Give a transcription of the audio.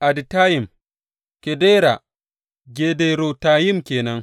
Aditayim, Gedera Gederotayim ke nan.